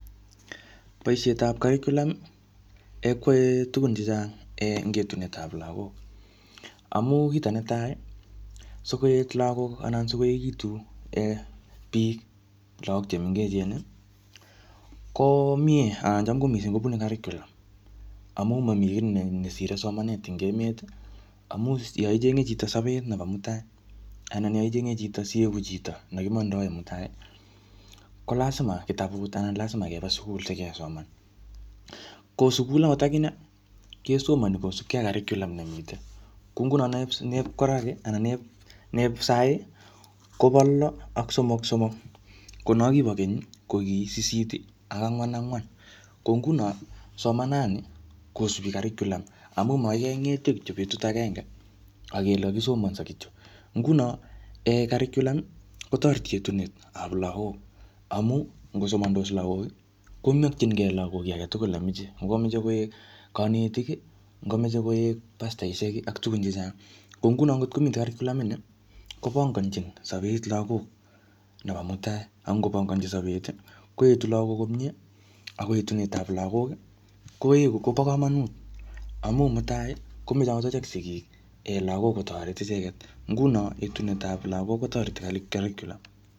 Bosietap curriculum kwae tugun chechang eng etunetap lagok. Amu kito netai, sikoet lagok anan sikoekitu um] biik lagok che mengechen, ko miee anan cham ko missing kobune curriculum. Amu mamii kiy nesire somanet ebg emet. Amu yaichenge chito sapet nebo mutai anan yaichenge chito sieku chito nekimandae mutai, ko lasima kitabut anan lasima keba sukul sikesoman. Ko sukul angot akine, kesomani kosupkei ak curriulum nemitei. Kuu nguno nep-nep koraki anan nep-nep sahii, kobo lo ak somok-somok. Ko no kibo keny, ko ki sisit ak angwan-angwan. Ko nguno somanat nii kosubi curriculum. Amu makoi kengetio kityo betut agenge akele kakisomanso kityo. Nguno um curriulum kotoreti etunetap lagok. Amu ngosomandos lagok, komakchinkey lagok kiy age tugul nemache. Ngokameche koek kanetik, ngokameche koek pastaisiek ak tugun chechang. Ko nguno ngotkomite curriculum ini, kopanangchin sapet lagok nebo mutai. Angopanganachi sapet, koetu lagok komyee, ako etunet ap lagok, koeku, kopo kamanut. Amu mutai, komeche angot achek sigik um lagok kotoret icheket. Nguno etunetap lagok kotoreti curriculum.